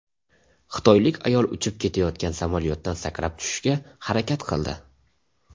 Xitoylik ayol uchib ketayotgan samolyotdan sakrab tushishga harakat qildi.